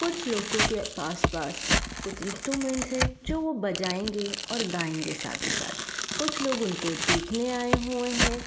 कुछ लोगो के पास-पास कुछ इंस्ट्रूमेंट्स हैं जो वो बजायेगें और गायेगें साथ ही साथ। कुछ लोग उनको देखने आये हुए हैं।